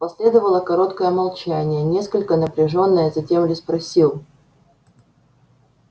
последовало короткое молчание несколько напряжённое затем ли спросил